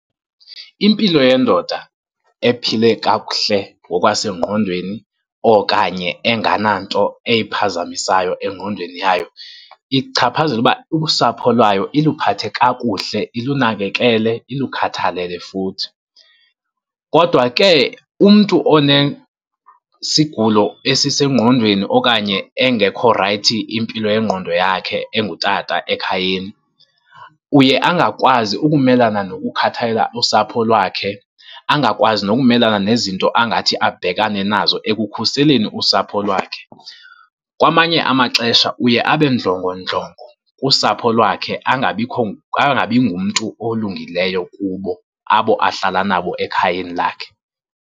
Impilo yendoda ephile kakuhle ngokwasengqondweni okanye engananto eyiphazamisayo engqondweni yayo, ichaphazela ukuba usapho lwayo iluphathe kakuhle, ilunakekele, ilukhathalele futhi. Kodwa ke umntu onesigulo esisengqondweni okanye engekho rayithi impilo yengqondo yakhe engutata ekhayeni, uye angakwazi ukumelana nokukhathalela usapho lwakhe. Angakwazi nokumelana nezinto angathi abhekane nazo ekukhuseleni usapho lwakhe. Kwamanye amaxesha uye abe ndlongondlongo kusapho lwakhe, angabikho, angabi ngumntu olungileyo kubo abo ahlala nabo ekhayeni lakhe.